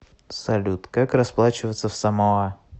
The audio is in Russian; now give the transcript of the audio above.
салют как расплачиваться в самоа